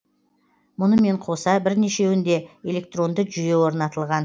мұнымен қоса бірнешеуінде электронды жүйе орнатылған